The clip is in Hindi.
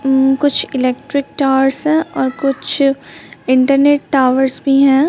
मम कुछ इलेक्ट्रिक टावर्स है और कुछ इंटरनेट टॉवर्स भी हैं।